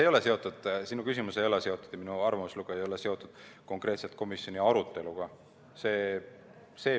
Sinu küsimus ja minu arvamuslugu ei ole seotud konkreetselt komisjoni aruteluga.